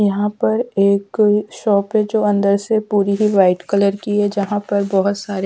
यहाँ पर एक शॉप है जो अंदर से पूरी ही व्हाईट कलर की है जहाँ पर बहुत सारी--